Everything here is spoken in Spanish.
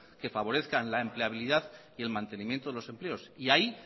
que favorezcan la empleabilidad y en mantenimiento de los empleos y ahí